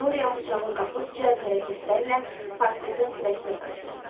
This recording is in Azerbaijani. Dorian bıçağı qapıb cəld hərəkətlərlə portretin sinəsinə sancdı.